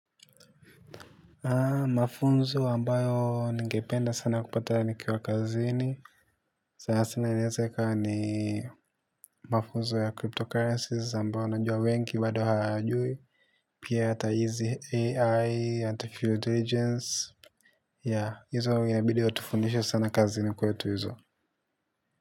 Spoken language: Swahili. Mafunzo ambayo ningependa sana kupata nikiwa kazini sana sana inaweza ikawa ni mafunzo ya cryptocurrencies ambayo najua wengi bado hawayajui. Pia ata easy AI and field regions. Ya, hizo wanginabidi watufundisho sana kazini kwetu hizo.